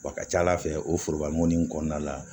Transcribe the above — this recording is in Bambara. Wa a ka ca ala fɛ o foroba mɔgɔnin in kɔnɔna la